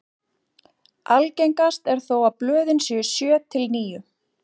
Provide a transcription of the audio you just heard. Algengast er þó að blöðin séu sjö til níu.